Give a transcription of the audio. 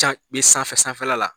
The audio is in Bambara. Can be sanfɛ sanfɛla la.